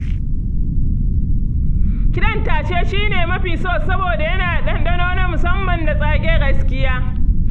Kiɗan tashe shi ne na fi so saboda yana da ɗanɗano na musamman da tsage gaskiya.